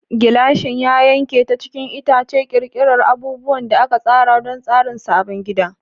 Gilashin ya yanke ta cikin itace, ƙirƙirar abubuwan da aka tsara don tsarin sabon gida.